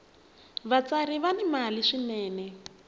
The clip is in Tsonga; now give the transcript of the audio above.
vatsari va ni mali swinene